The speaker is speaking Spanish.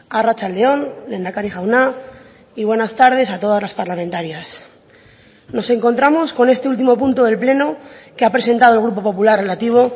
arratsalde on lehendakari jauna y buenas tardes a todas las parlamentarias nos encontramos con este último punto del pleno que ha presentado el grupo popular relativo